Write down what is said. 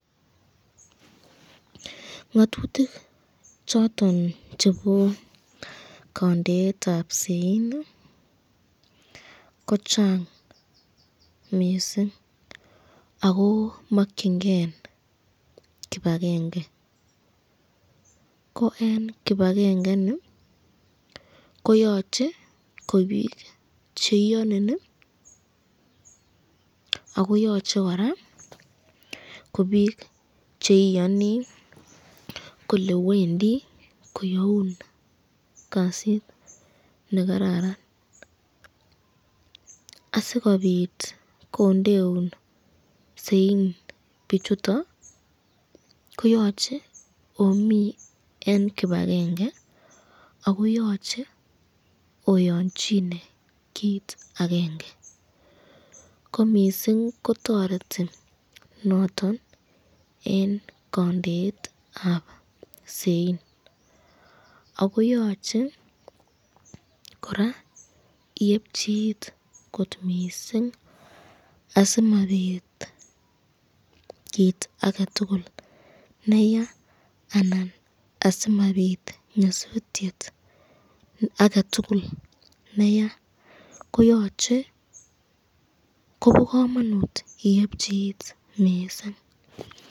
Ng'atutik choton chebo kondeetab sain kochang missing ako mongyingen kipakenge, ko en kipakengeni koyoche ko biik cheiyonin akoyoche kora biik cheiyoni kole wendi koyaun kasit nekararan ,asikobit kondeun sain bichuton koyoche omii en kipakenge akoyoche oyonjine kit agenge komissing kotoreti noton en kondeetab sain akoyoche kora iepchi it kot missing asimabit kit agetugul neyaa alan asimabit nyosutiet agetugul neyaa kobo komonut iephi it missing.